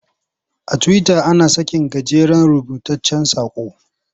A Tiwita ana sakin gajeren rubutaccen saƙo.